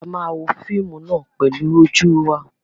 A máa wo fíímù náà pẹlu ojú wa.